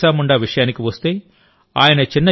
భగవాన్ బిర్సా ముండా విషయానికి వస్తే